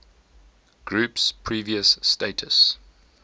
group's previous status